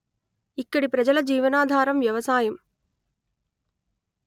ఇక్కడి ప్రజల జీవనాధారం వ్యవసాయం